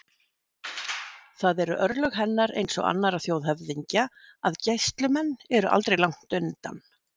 Það eru örlög hennar eins og annarra þjóðhöfðingja að gæslumenn eru aldrei langt undan.